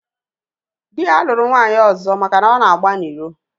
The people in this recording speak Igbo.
Dị ya lụrụ nwaanyị ọzọ maka na ọ na-agba n'iro